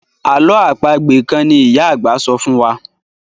àlọ́ àpagbè kán ní ìyá àgbà sọfún wá.